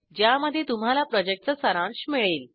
ज्यामध्ये तुम्हाला प्रॉजेक्टचा सारांश मिळेल